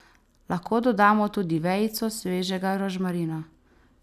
Lahko dodamo tudi vejico svežega rožmarina.